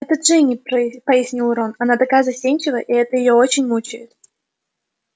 это джинни пояснил рон она такая застенчивая и это её очень мучает